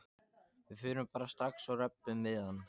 Við förum bara strax og röbbum við hann.